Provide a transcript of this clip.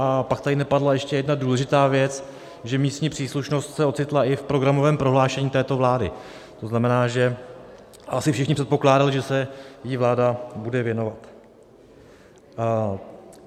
A pak tady nepadla ještě jedna důležitá věc, že místní příslušnost se ocitla i v programovém prohlášení této vlády, to znamená, že asi všichni předpokládali, že se jí vláda bude věnovat.